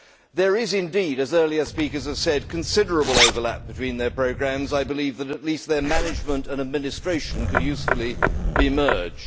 There is indeed, as earlier speakers have said, considerable overlap between their programmes, and I believe that their management and administration, at least, could usefully be merged.